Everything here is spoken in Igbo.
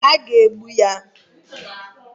A ga-egbu ya